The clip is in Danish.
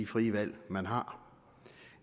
frie valg man har